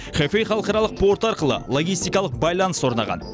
хэфэй халықаралық порты арқылы логистикалық байланыс орнаған